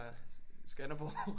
Skanderborg